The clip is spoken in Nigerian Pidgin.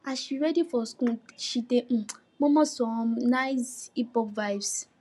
as she ready for school she dey um murmur some some nice hiphop vibes